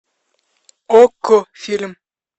окко фильм